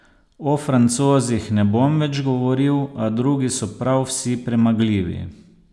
O Francozih ne bom več govoril, a drugi so prav vsi premagljivi.